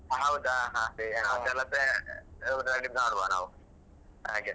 ಹೌದಾ ಹ ಅದೇ ಅದೆಲ್ಲ pay ನೋಡುವ ನಾವು ಹಾಗೆ.